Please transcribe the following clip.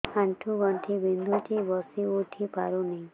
ଆଣ୍ଠୁ ଗଣ୍ଠି ବିନ୍ଧୁଛି ବସିଉଠି ପାରୁନି